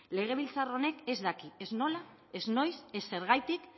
legebiltzar honek ez daki ez nola ez noiz ez zergatik